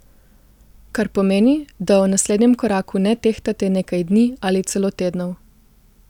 Kar pomeni, da o naslednjem koraku ne tehtate nekaj dni ali celo tednov.